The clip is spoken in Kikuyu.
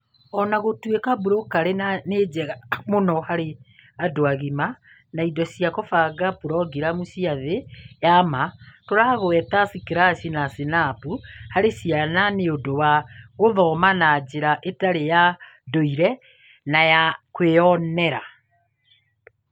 O na gũtuĩka Blockly nĩ njega mũno harĩ andũ agima na indo cia kũbanga programu cia thĩ ya ma, tũragweta Scratch na Snap harĩ ciana nĩ ũndũ wa gũthoma na njĩra ĩtarĩ ya ndũire na ya kwĩyonera.